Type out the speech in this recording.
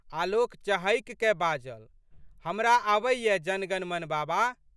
आलोक चहकिकए बाजल, हमरा आबैए जनगणमन बाबा।